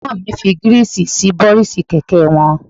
Ẹ̀gbọ́n mi ń fi Gíríìsì sí bọ́rísì kẹ̀kẹ́ wọn